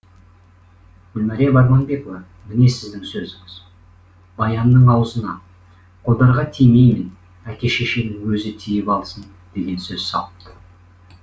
гүлмәрия барманбекова міне сіздің сөзіңіз баянның аузына қодарға тимеймін әке шешемнің өзі тиіп алсын деген сөз салыпты